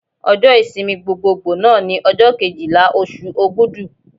Ọjọ́ ìsinmi gbogboògbò náà ni ọjọ́ Kejìlá oṣù Ògudù.